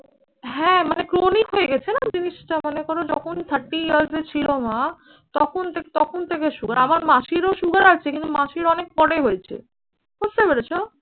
হ্যাঁ মানে chronic হয়ে গেছে না জিনিসটা। মানে কোনো যখন thirty years এ ছিল মা তখন থেকে তখন থেকে সুগার। আমার মাসিরও সুগার আছে। কিন্তু মাসির অনেক পরে হয়েছে। বুঝতে পেরেছো?